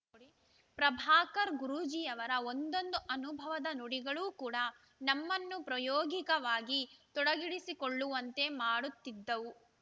ಪ್ರಭಾಕರ್‌ ಗುರೂಜಿಯವರ ಒಂದೊಂದು ಅನುಭವದ ನುಡಿಗಳು ಕೂಡ ನಮ್ಮನ್ನು ಪ್ರಯೋಗಿಕವಾಗಿ ತೊಡಗಿಡಿಸಿಕೊಳ್ಳುವಂತೆ ಮಾಡುತ್ತಿದ್ದವು